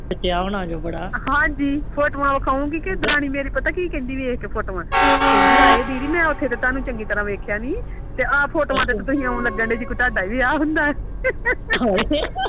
ਹਾਂਜੀ ਫੋਟਿਵ ਦਿਖਾਉਂਗੀ ਕੇ ਮੇਰੀ ਜੇਠਾਣੀ ਮੇਰੀ ਪਤਾ ਕਿ ਕੇਂਦੀ ਮੇਰੀ ਫੋਟਵਾ ਕਹਿੰਦੀ ਹਾਏ ਦੀਦੀ ਮੈਂ ਤੇ ਤਾਹਨੂੰ ਉਥੇ ਚੰਗੀ ਤਰਾਹ ਦੇਖਿਆ ਨੀ ਸੀ ਤੇ ਇਹ ਫੋਟੋਵਾ ਵਿਚ ਤੇ ਤੁਸੀਂ ਆਉ ਲੱਗਣ ਦੇ ਓ ਜਿਵੇ ਤੁਹਾਡਾ ਵਿਆਹ ਹੁੰਦਾ